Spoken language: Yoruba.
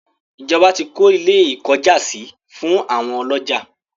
ìjọba tí kọ́ ilé - ìkọ́jàsí fún àwọn ọlọ́jà.